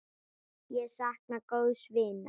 Ég sakna góðs vinar.